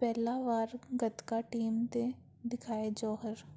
ਪਹਿਲੀ ਵਾਰ ਗੱਤਕਾ ਟੀਮ ਨੇ ਦਿਖਾਏ ਜੌਹਰ